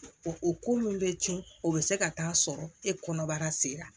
O o ko min bɛ tiɲɛ o be se ka taa sɔrɔ e kɔnɔbara sera